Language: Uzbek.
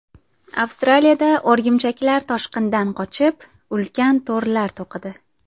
Avstraliyada o‘rgimchaklar toshqindan qochib, ulkan to‘rlar to‘qidi .